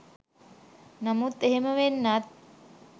නමුත් එහෙම වෙන්නත්